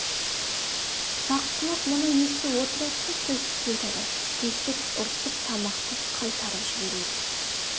саққұлақ мұны естіп отырады да төстікке айтады төстік ұрсып тамақты қайтарып жібереді